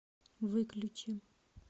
выключи